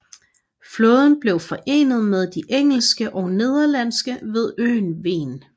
Flåden blev forenet med de engelske og nederlandske ved øen Ven